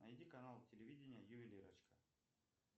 найди канал телевидения ювелирочка